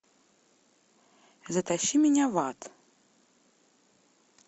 затащи меня в ад